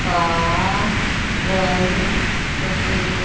का रंग सफेद--